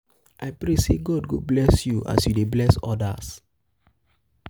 i pray sey god go bless you as you dey bless odas.